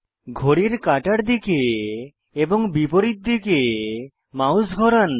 ঘড়ির কাঁটার দিকে এবং বিপরীত দিকে মাউস ঘোরান